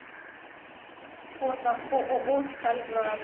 фото ооо стальград